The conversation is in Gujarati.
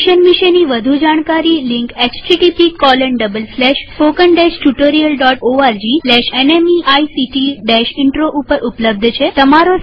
મિશન વિષે વધુ જાણકારી લિંક httpspoken tutorialorgNMEICT Intro ઉપર ઉપલબ્ધ છે